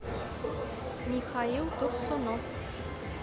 михаил турсунов